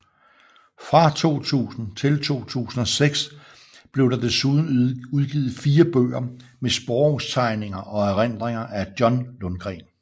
Fra 2000 til 2006 blev der desuden udgivet fire bøger med sporvognstegninger og erindringer af John Lundgren